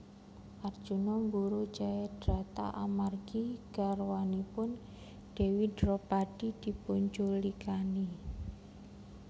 Arjuna mburu Jayadrata amargi garwanipun Dewi Dropadi dipunculikani